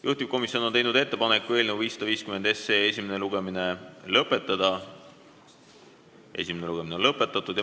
Juhtivkomisjon on teinud ettepaneku eelnõu 550 esimene lugemine lõpetada.